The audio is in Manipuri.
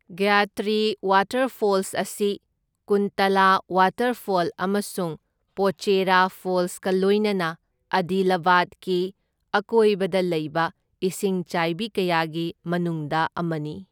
ꯒꯌꯇ꯭ꯔꯤ ꯋꯥꯇꯔꯐꯣꯜꯁ ꯑꯁꯤ ꯀꯨꯟꯇꯂꯥ ꯋꯥꯇꯔꯐꯣꯜ ꯑꯃꯁꯨꯡ ꯄꯣꯆꯦꯔꯥ ꯐꯣꯜꯁꯀ ꯂꯣꯏꯅꯅ ꯑꯗꯤꯂꯥꯕꯥꯗꯀꯤ ꯑꯀꯣꯏꯕꯗ ꯂꯩꯕ ꯏꯁꯤꯡꯆꯥꯏꯕꯤ ꯀꯌꯥꯒꯤ ꯃꯅꯨꯡꯗ ꯑꯃꯅꯤ꯫